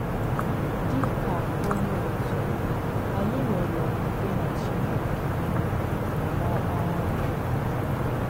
Dị̀ kà̀ ọ̀nyé òtù, ányị̀ nwèrè òkwùkwè nà Chínèkè nà n’Ọ̀kpara yà.